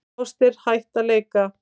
Foster hætt að leika